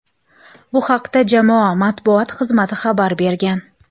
Bu haqda jamoa matbuot xizmati xabar bergan.